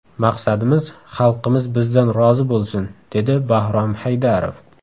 Maqsadimiz xalqimiz bizdan rozi bo‘lsin”, dedi Bahrom Haydarov.